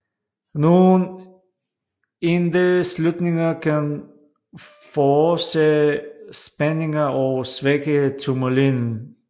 Nogle indeslutninger kan forårsage spændinger og svække turmalinen